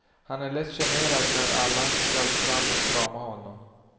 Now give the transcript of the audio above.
Han är lätt generad när alla skall fram och krama om honom.